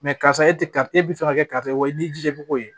karisa e tɛ karisa e bɛ fɛ ka kɛ karisa ye o ye n'i jija ko ye